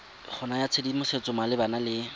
go naya tshedimosetso malebana le